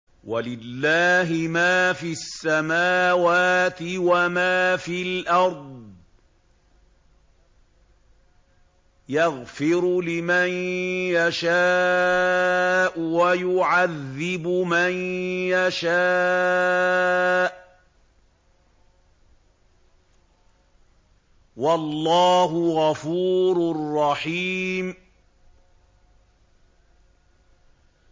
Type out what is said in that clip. وَلِلَّهِ مَا فِي السَّمَاوَاتِ وَمَا فِي الْأَرْضِ ۚ يَغْفِرُ لِمَن يَشَاءُ وَيُعَذِّبُ مَن يَشَاءُ ۚ وَاللَّهُ غَفُورٌ رَّحِيمٌ